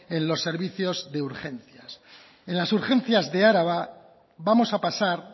en los servicios de urgencias en las urgencias de araba vamos a pasar